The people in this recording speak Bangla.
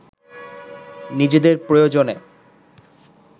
নিজেদের প্রয়োজনে